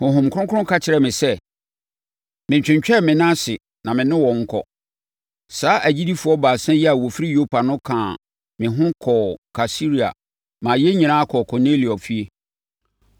Honhom Kronkron ka kyerɛɛ me sɛ, menntwentwɛn me nan ase na me ne wɔn nkɔ. Saa agyidifoɔ baasa yi a wɔfiri Yopa no kaa me ho kɔɔ Kaesarea maa yɛn nyinaa kɔɔ Kornelio efie.